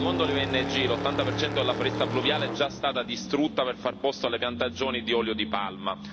Secondo le ONG, l'80 per cento della foresta pluviale è già stata distrutta per far posto alle piantagioni di olio di palma.